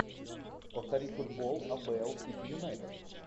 повтори футбол апл сити юнайтед